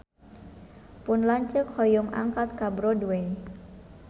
Pun lanceuk hoyong angkat ka Broadway